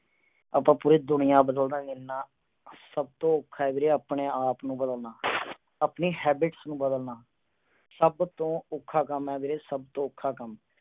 ਆਪਾ ਪੂਰੀ ਦੁਨੀਆਂ ਬਦਲ ਦਾਂਗੇ, ਨਾ। ਸਭ ਤੋਂ ਔਖਾ ਏ ਵੀਰੇ ਆਪਣੇ ਆਪ ਨੂੰ ਬਦਲਣਾ, ਆਪਣੀ habits ਨੂੰ ਬਦਲਣਾ। ਸਭ ਤੋਂ ਔਖਾ ਕੰਮ ਏ ਵੀਰੇ, ਸਭ ਤੋਂ ਔਖਾ।